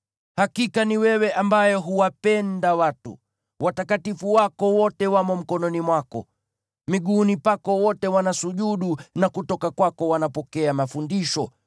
Hakika ni wewe ambaye huwapenda watu, watakatifu wako wote wamo mkononi mwako. Miguuni pako wote wanasujudu na kutoka kwako wanapokea mafundisho,